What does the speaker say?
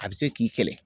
A bɛ se k'i kɛlɛ